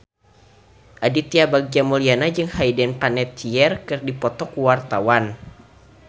Aditya Bagja Mulyana jeung Hayden Panettiere keur dipoto ku wartawan